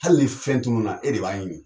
Hali ni fɛn tununna e de b'a ɲini.